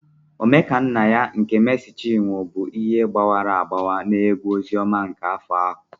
Omekannaya nke Meesi Chinwo bụ ihe gbawara agbawa na egwu ozioma n'afọ ahụ.